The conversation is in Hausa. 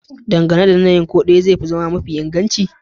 Dangane da yanayin, ko dai ɗaya zai iya zama mafi inganci